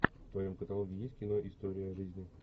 в твоем каталоге есть кино история жизни